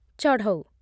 ଚଢ଼ଉ